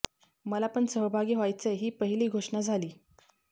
मला पण सहभागी व्हायचंय ही पहिली घोषणा झाली